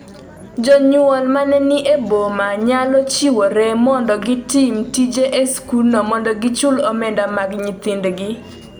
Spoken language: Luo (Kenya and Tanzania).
Jonyuol ma ni e boma nyalo chiwore mondo gitim tije e skundno mondo gichul omenda mar nyithindgi